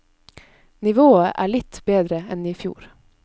Nivået er litt bedre enn i fjor.